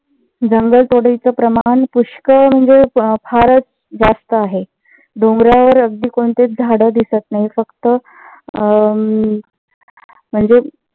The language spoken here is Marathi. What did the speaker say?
जंगल तोडीच प्रमाण पुष्कळ म्हणजे फारच जास्त आहे. डोंगरावर अगदी कोणतेच झाड दिसत नाहीत. फक्त अह अं म्हणजेच